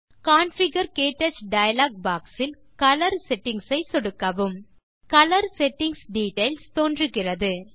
configure - க்டச் dialog box இல் colour settings ஐ சொடுக்கவும் கலர் செட்டிங்ஸ் டிட்டெயில்ஸ் தோன்றுகிறது